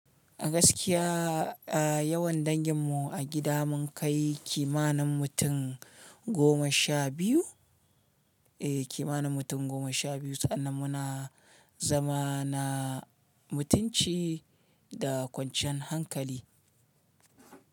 A gaskiya, a yawan dangin mu a gida mun kai kimanin mutum goma sha biyu, eh kimanin mutum goma sha biyu sannan muna zama na mutunci da kwanciyan hankali.